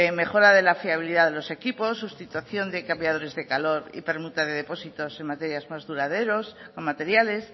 mejora de la fiabilidad de los equipos sustitución de cambiadores de calor y permuta de depósitos en materias más duraderos o materiales